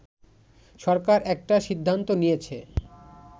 “সরকার একটা সিদ্ধান্ত নিয়েছে